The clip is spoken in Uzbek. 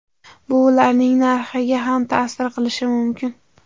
Bu ularning narxiga ham ta’sir qilishi mumkin.